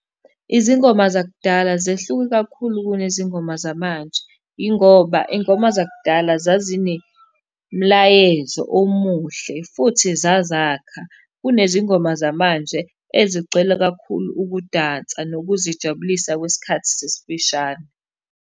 Izingoma zakudala zehluke kakhulu kunezingoma zamanje, yingoba iy'ngoma zakudala zazinemlayezo omuhle, futhi zazakha. Kunezingoma zamanje ezigcwele kakhulu ukudansa nokuzijabulisa kwesikhathi esifishane.